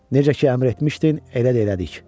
Necə ki əmr etmişdin, elə də elədik.